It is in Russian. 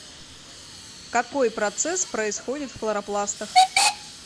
какой процесс происходит в хлоропластах